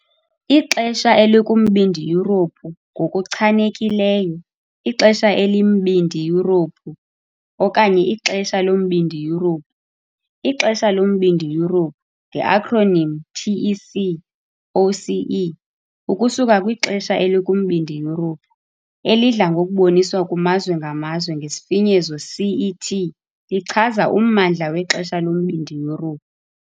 Ixesha elikuMbindi Yurophu - ngokuchanekileyo, ixesha eliMbindi Yurophu okanye iXesha loMbindi Yurophu, iXesha loMbindi Yurophu nge-acronym TEC, OCE, ukusuka "kwixesha" elikuMbindi Yurophu, elidla ngokuboniswa kumazwe ngamazwe ngesifinyezo CET - lichaza ummandla wexesha loMbindi Yurophu.